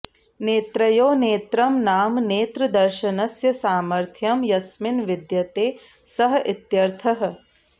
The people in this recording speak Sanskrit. नेत्रयोः नेत्रं नाम नेत्रदर्शनस्य सामर्थ्यं यस्मिन् विद्यते सः इत्यर्थः